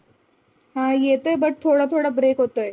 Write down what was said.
हा येतय but थोड़ थोड़ break होतय.